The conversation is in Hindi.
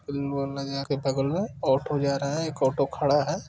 फिल्म हॉल है जाके के बगल में | ऑटो जा रहा है एक ओटो खड़ा है।